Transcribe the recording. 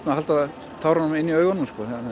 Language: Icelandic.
að halda inn í augunum